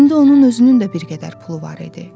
İndi onun özünün də bir qədər pulu var idi.